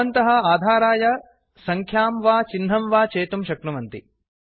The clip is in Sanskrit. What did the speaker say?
भवन्तः आधाराय सङ्ख्यां वा चिह्नं वा चेतुं शक्नुवन्ति